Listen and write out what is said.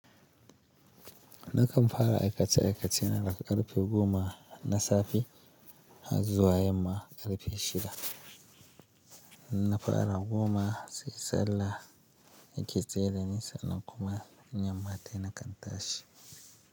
Nakan fara aikace-aikace na daga karfe goma na safe har zuwa yamma karfe shida. Na fara goma sai sallah yake tsaidani sanan kuma yamma tayi nakan tashi.